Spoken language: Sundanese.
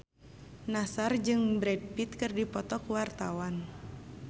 Nassar jeung Brad Pitt keur dipoto ku wartawan